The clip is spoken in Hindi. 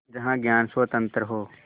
जहाँ ज्ञान स्वतन्त्र हो